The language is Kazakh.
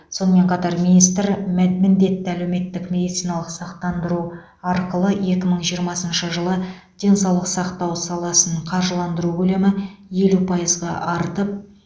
сонымен қатар мән министр міндетті әлеуметтік медициналық сақтандыру арқылы екі мың жиырмасыншы жылы денсаулық сақтау саласын қаржыландыру көлемі елу пайызға артып